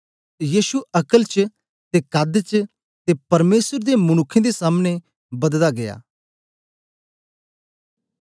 यीशु अक्ल च ते कद च ते परमेसर ते मनुक्खें दे सामने बददा गीया